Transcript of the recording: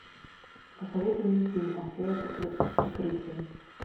посоветуй мне фильм афера под прикрытием